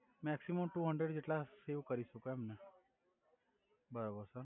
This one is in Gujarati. મેકસિમમ ટુ હંડ્રેરેડ જેટ્લા સેવ કરી સકો એમ ને બરોબર સર